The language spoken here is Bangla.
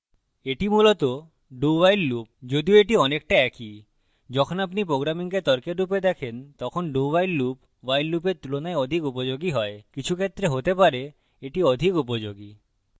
that মূলত dowhile loop যদিও that অনেকটা একই যখন আপনি programming তর্কের রূপে দেখেন তখন dowhile loop while লুপের তুলনায় অধিক উপযোগী হয় কিছু ক্ষেত্রে হতে পারে that অধিক উপযোগী